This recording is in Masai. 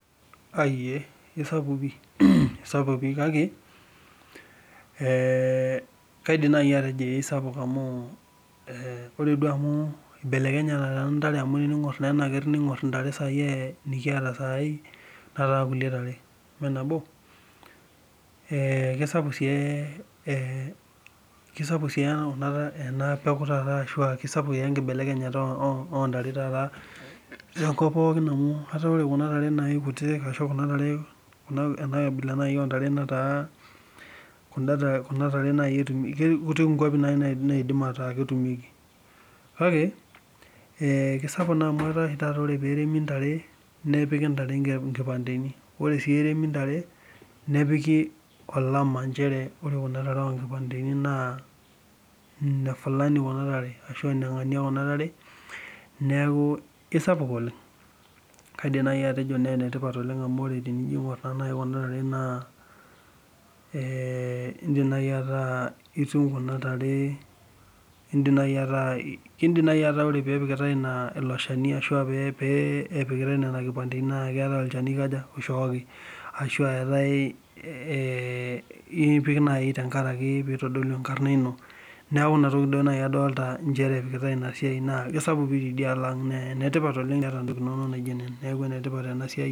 Aai ee isapuk pi kake kaidim naaji atejo isapuk amu ,ore duo amu ibelekenyate ntare amu teningor enaker ningor ntare nikiata saai, netaa kulie tare emeenabo? kisapuk sii ena taata ashu enkibelekenyata oontare taata tenkop pookin amu etaa ore kuna tare kutitik ashu ena abila naaji intare netaa ketii naaji kwapi naidim ataa ketumieki. Kake kisapuk naa amu etaa oshi taata ore pee etumi ntare nepiki ntare nkipanteni, ore sii eremi ntare ,nipiki olama nchere ore kuna tare onkipanteni naa nefulani kuna tare ashua nengani kuna tare ,neeku isapuk oleng. Kaidim naaji atejo enetipat amu ore tenijo aingor naaji kuna tare naa kaidim naaji ataa ore pee epikitae ilo shani ashua pee epikitae nena kipanteni naa keetae olchani oishooki, ashu ipik naaji tenkaraki pee eitodolu enkarna ino. Neeku inatoki naaji adolita nchere epikitae ina siai naa kisapuk pi tidialo ang naa enetipat ena siai oleng.